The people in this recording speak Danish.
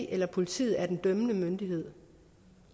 eller politiet er den dømmende myndighed